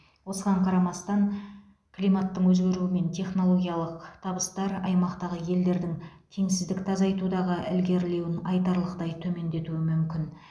осыған қарамастан климаттың өзгеруі мен технологиялық табыстар аймақтағы елдердің теңсіздікті азайтудағы ілгерілеуін айтарлықтай төмендетуі мүмкін